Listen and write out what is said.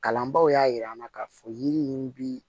Kalanbaaw y'a yira an na k'a fɔ yiri in bi